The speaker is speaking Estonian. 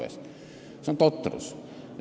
See on totrus.